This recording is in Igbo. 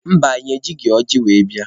Mba, anyị ejighị ọjị were bịa.